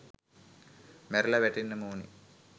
මැරිල වැටෙන්නම ඕන.